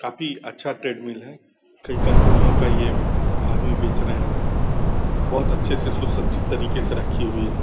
काफ़ी अच्छा ट्रेडमील है । कई कम्पनियों का ये आदमी बेच रहे हैं । बोहोत अच्छे से सुसज्जित तरीके से रखी हुई हैं ।